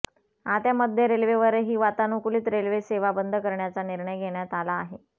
आता मध्य रेल्वेवरही वातानुकूलित रेल्वे सेवा बंद करण्याचा निर्णय घेण्यात आला आहे